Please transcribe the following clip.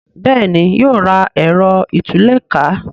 Béèni yóò rà Ẹ̀rọ ìtúlẹ̀ká